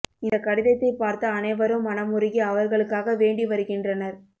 இந்த கடிதத்தை பார்த்து அனைவரும் மனமுருகி அவர்களுக்காக வேண்டி வருகின்றனர்